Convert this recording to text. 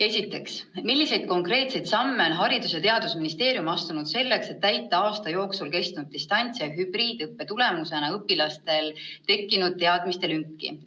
Esiteks: "Milliseid konkreetseid samme on Haridus- ja Teadusministeerium astunud selleks, et täita aasta jooksul kestnud distants- ja hübriidõppe tulemusena õpilastel tekkinud teadmiste lünki?